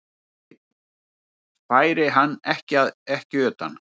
Einn færi hann ekki utan.